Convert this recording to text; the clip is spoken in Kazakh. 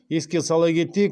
еске сала кетейік